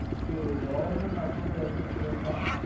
இது Government Approved Health Insurance ஆஹ்